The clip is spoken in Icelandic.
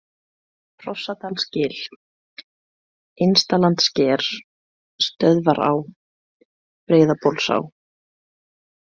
Hrossadalsgil, Innstalandssker, Stöðvará, Breiðabólsá